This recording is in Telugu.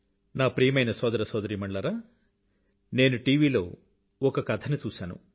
నా ప్రియమైన సోదర సోదరీమణులారా నేను టివీ లో ఒక కథని చూశాను